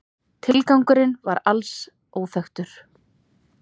Tilgangurinn var alls óþekktur